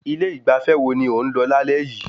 Ilé ìgbafẹ́ wo ni ó ń lọ lálẹ́ yìí?